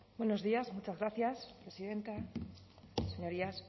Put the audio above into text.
buenos días muchas gracias presidenta señorías